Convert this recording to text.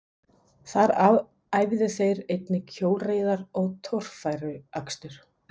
Þar æfðu þeir einnig hjólreiðar og torfæruakstur.